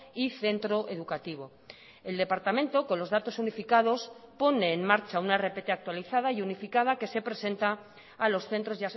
y centro educativo el departamento con los datos unificados pone en marcha una rpt actualizada y unificada que se presenta a los centros